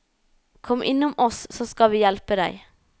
Kom innom oss så skal vi hjelpe deg.